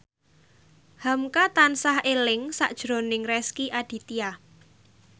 hamka tansah eling sakjroning Rezky Aditya